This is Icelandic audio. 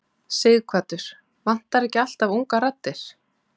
Sighvatur: Vantar ekki alltaf ungar raddir?